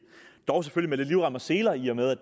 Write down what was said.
dog selvfølgelig med lidt livrem og seler i og med at